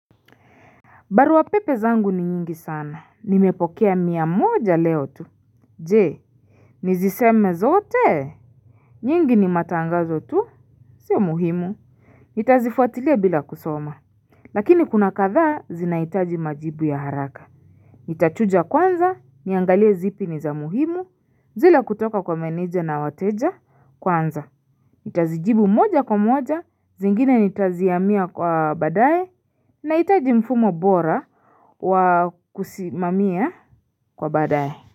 Barua pepe zangu ni nyingi sana. Nimepokea mia moja leo tu. Je, niziseme zote. Nyingi ni matangazo tu. Sio muhimu. Nitazifuatilia bila kusoma. Lakini kuna kadhaa zinahitaji majibu ya haraka. Nitachuja kwanza, niangalie zipi ni za muhimu. Zile kutoka kwa meneja na wateja kwanza. Itazijibu moja kwa moja. Zingine nitazihamia kwa badaye. Nahitaji mfumo bora wa kusimamia kwa badae.